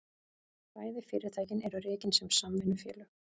Bæði fyrirtækin eru rekin sem samvinnufélög